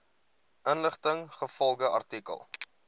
inligting ingevolge artikel